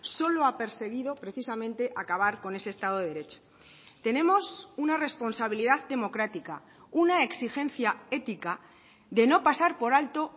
solo ha perseguido precisamente acabar con ese estado de derecho tenemos una responsabilidad democrática una exigencia ética de no pasar por alto